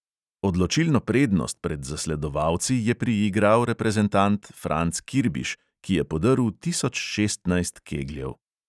Odločilno prednost pred zasledovalci je priigral reprezentant franc kirbiš, ki je podrl tisoč šestnajst kegljev.